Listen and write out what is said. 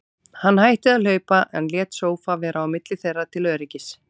Hann hætti að hlaupa, en lét sófa vera á milli þeirra til öryggis.